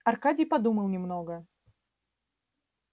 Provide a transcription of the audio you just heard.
аркадий подумал немного